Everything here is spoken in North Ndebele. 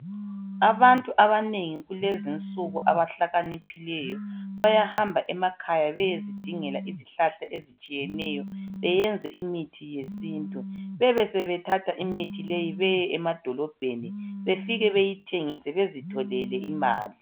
abantu abanengi kulezinsuku abahlakaniphileyo bayahamba emakhaya beyezingela izihlahkla ezitshiyeneyo beyenze imithi yesintu bebesebethatha imithi leyi beye emadolobheni besebeyithengisa bezithathele imali